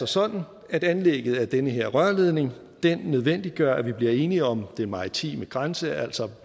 sådan at anlægget af den her rørledning nødvendiggør at vi bliver enige om den maritime grænse altså